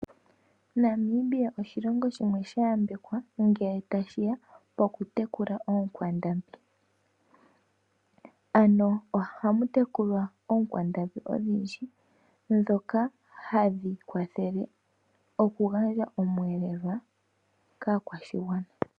Namibia oshilongo shimwe sha yambekwa ngele tashiya poku tekula ookwandambi. Ano oha mutekulwa ookwandambi odhindji ndhoka hadhi kwathele oku gandja omwelelo kaakwashigwana.